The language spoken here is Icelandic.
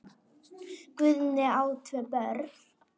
Guðný á tvö börn.